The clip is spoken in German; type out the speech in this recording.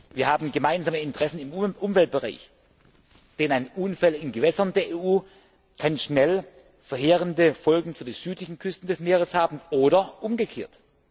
Wir haben gemeinsame Interessen im Umweltbereich, denn ein Unfall in Gewässern der EU kann schnell verheerende Folgen für die südlichen Küsten des Meeres haben oder umgekehrt.